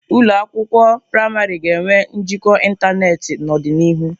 Ụlọ akwụkwọ praịmarị ga-enwe njikọ ịntanetị n'ọdịnihu.